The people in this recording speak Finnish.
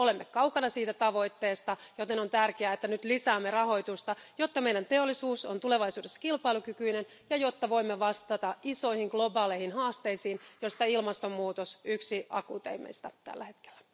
Olemme kaukana siitä tavoitteesta, joten on tärkeää että, nyt lisäämme rahoitusta, jotta meidän teollisuutemme on tulevaisuudessa kilpailukykyinen, ja jotta voimme vastata isoihin globaaleihin haasteisiin, joista ilmastonmuutos on yksi akuuteimmista tällä hetkellä.